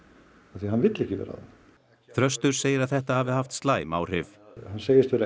af því hann vill ekki vera þarna þröstur segir að þetta hafi haft slæm áhrif hann segist vera